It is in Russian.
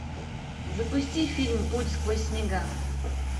запусти фильм путь сквозь снега